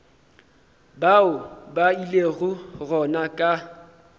bao ba ilego gona ka